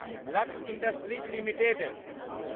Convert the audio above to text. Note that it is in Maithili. lux industries limited